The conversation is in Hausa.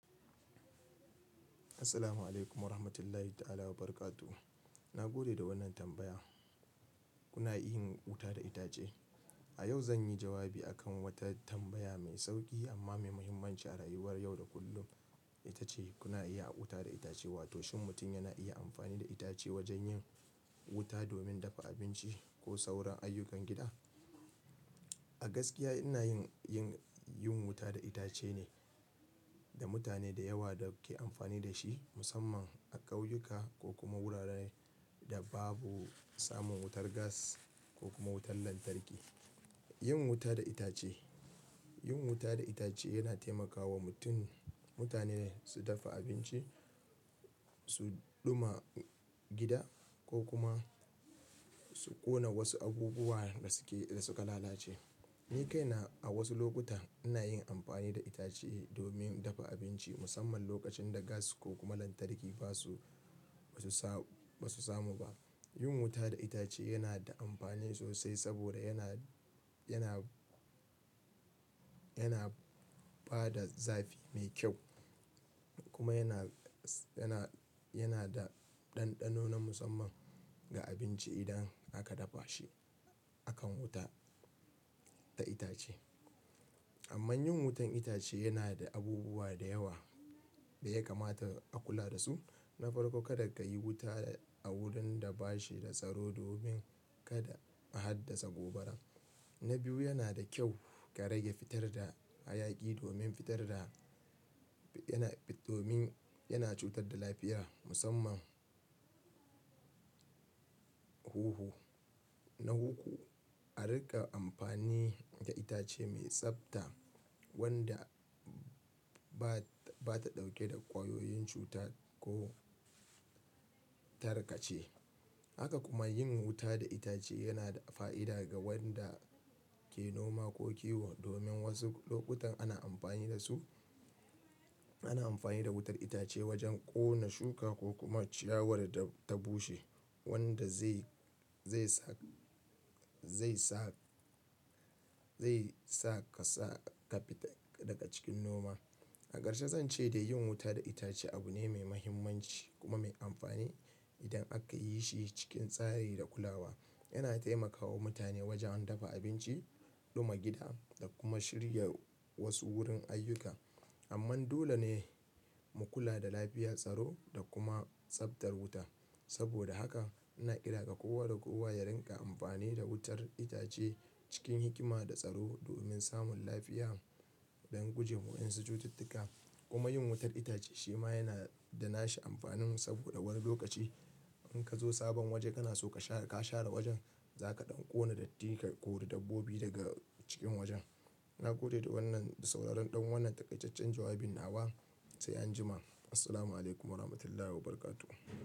Assalamu alaikum warahmatullahi ta'ala barakatuh. Na gode da wannan tambaya. Kuna iya yin wuta da itace? A yau zan yi jawabi a kan wata tambaya mai sauƙi amma mai muhimmanci a rayuwar yau da kullum. Ita ce kuna iya a wuta da itace, wato shin mutum yana iya amfani da itace wajen yin wuta domin dafa abinci ko sauran ayyukan gida? A gaskiya ina yin, yin, yin wuta da itace ne da mutane da yawa da ke amfani da shi musamman a ƙauyuka ko kuma wuraren da babu samun wutar gas ko kuma wutar lantarki. Yin wuta da itace, yin wuta da itace yana taimakawa mutum, mutane su dafa abinci, su ɗuma gida ko kuma su ƙona wasu abubuwa da suke, da suka lalace. Ni kaina a wasu lokuta ina yin amfani da itace domin dafa abinci musamman lokacin da gas ko kuma lantarki ba su, ba su samu ba. Yin wuta da itace yana da amfani sosai saboda yana, yana, yana ba da zafi mai kyau kuma yana, yana, yana da ɗanɗano na musamman ga abinci idan aka dafa shi akan wuta ta itace. Amman yin wutar itace yana da abubuwa da yawa da ya kamata a kula da su. Na farko, kada ka yi wuta a wurin da bashi da tsaro domin kada a haddasa gobara. Na biyu, yana da kyau ka rage fitar da hayaki domin fitar da yana, domin yana cutar da lafiya musamman huhu. Na uku, a riƙa amfani da itace mai tsabta wanda ba, ba ta ɗauke da ƙwayoyin cuta ko tarkace. Haka kuma yin wuta da itace yana da fa'ida ga wanda ke noma ko kiwo domin wasu lokutan ana amfani da su, ana amfani da wutar itace wajen ƙona shuka ko kuma ciyawar da ta bushe wanda zai, zai sa, zai sa, zai sa ka sa kafi ta daga cikin noma. A ƙarshe zan ce da yin wuta da itace abu ne mai mahimmanci kuma mai amfani idan aka yi shi cikin tsari da kulawa. Yana taimakawa mutane wajen dafa abinci, ɗuma gida da kuma shirya wasu wurin ayyuka. Amma dole ne mu kula da lafiya, tsaro da kuma tsabtar wuta. Saboda haka ina kira ga kowa da kowa ya rinƙa amfani da wutar itace cikin hikima da tsaro domin samun lafiya, don guje wa wa'ansu cututtuka. Kuma yin wutar itace shi ma yana da nashi amfanin saboda wani lokaci in ka zo sabon waje kana so ka share, ka share wajen za ka ɗan ƙona datti ka kori dabbobi daga cikin wajen. Na gode da wannan, da sauraron ɗan wannan takaitaccen jawabin. Na wa sai an jima. Assalamu alaikum warahmatullahi wabarakatuh.